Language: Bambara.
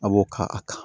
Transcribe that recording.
A b'o ka a ta